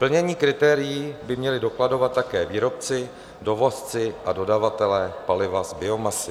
Plnění kritérií by měli dokladovat také výrobci, dovozci a dodavatelé paliva z biomasy.